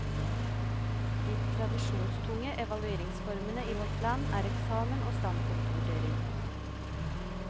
De tradisjonstunge evalueringsformene i vårt land er eksamen og standpunktvurdering.